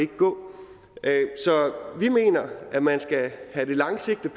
gå så vi mener at man skal handle langsigtet